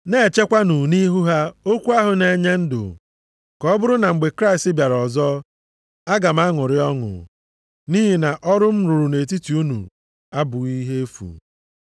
Na-echekwanụ nʼihu ha okwu ahụ na-enye ndụ. Ka ọ bụrụ na mgbe Kraịst bịara ọzọ, aga m aṅụrị ọṅụ, nʼihi na ọrụ m rụrụ nʼetiti unu abụghị ihe efu.